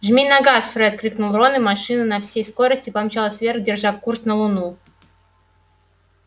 жми на газ фред крикнул рон и машина на всей скорости помчалась вверх держа курс на луну